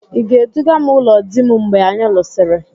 Ị ga-eduga m ụlọ di m mgbe anyi lụsịrị?